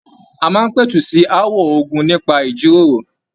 A máa n p'ẹ̀tú sí aawọ ogún nípa ijiroro.